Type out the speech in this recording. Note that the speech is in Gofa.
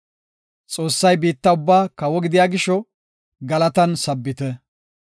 Xoossay biitta ubbaa kawo gidiya gisho, galatan sabbite.